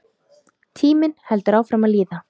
Tíminn heldur áfram að líða.